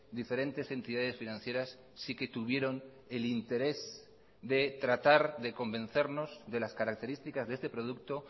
diferentes entidades financieras sí que tuvieron el interés de tratar de convencernos de las características de este producto